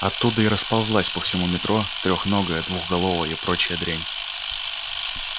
оттуда и расползалась по всему метро трёхногая двухголовая и прочая дрянь